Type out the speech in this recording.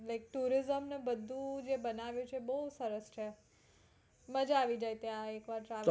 મેં tourism ને બધું જે બનાવ્યુ છે બોવ સરસ છે માજા આવી જાય ત્યાં એક વાર